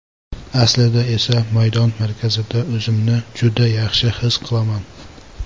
Aslida esa maydon markazida o‘zimni juda yaxshi his qilaman.